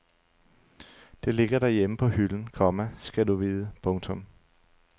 Det ligger derhjemme på hylden, komma skal du vide. punktum